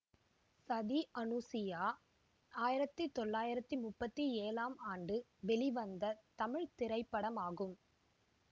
சதி அனுசுயா ஆயிரத்தி தொள்ளாயிரத்தி முப்பத்தி ஏழாம் ஆண்டு வெளிவந்த தமிழ் திரைப்படமாகும்